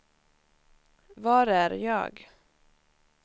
var är jag